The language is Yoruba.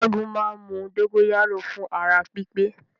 Ṣẹ́gun máa ń mu dógóyárò fún ara pípé